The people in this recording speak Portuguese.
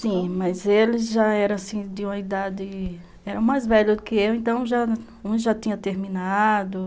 Sim, mas eles já eram de uma idade... eram mais velhos que eu, então um já tinha terminado.